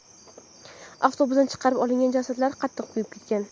Avtobusdan chiqarib olingan jasadlar qattiq kuyib ketgan.